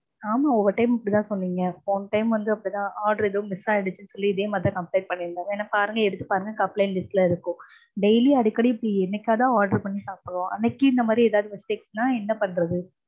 ஆமா ஒவ்வொரு time மும் இப்படிதா சொல்வீங்க. போன time அப்படிதா order ஏதோ miss ஆயிருச்சுன்னு சொல்லி இதே மாதிரிதா complaint பண்ணிருந்தோம். வேணுனா பாருங்க எடுத்து பாருங்க complaint list ல இருக்கும். daily அடிக்கடி இப்படி என்னைக்காவதுதா order பண்ணி சாப்பிடுவோம். அன்னைக்கும் இந்த மாதிரி ஏதாவது mistake னா என்ன பண்றது?